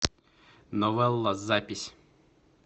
новелла запись